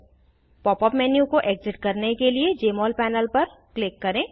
pop up menu को exit करने के लिए जमोल पैनल पर क्लिक करें